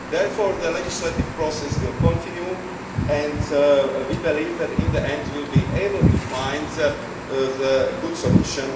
think so. Therefore the legislative process will continue and we believe that, in the end, we will be able to find a good